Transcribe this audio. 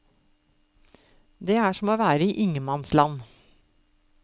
Det er som å være i ingenmannsland.